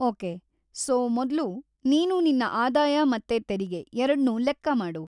Okay, so ಮೊದ್ಲು ನೀನು ನಿನ್ನ ಆದಾಯ ಮತ್ತೆ ತೆರಿಗೆ ಎರಡ್ನೂ ಲೆಕ್ಕ ಮಾಡು.